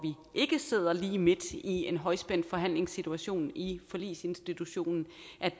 ikke sidder lige midt i en højspændt forhandlingssituation i forligsinstitutionen